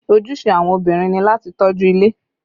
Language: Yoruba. Ojúṣe àwọn obìnrin ni láti tọ́jú ilé